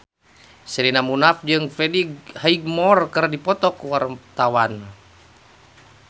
Sherina Munaf jeung Freddie Highmore keur dipoto ku wartawan